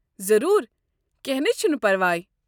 ضروٗر! کٮ۪نٛہہ نے چھُنہٕ پرواے۔